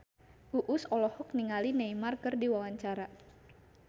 Uus olohok ningali Neymar keur diwawancara